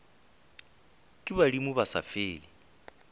ke badimo ba sa fele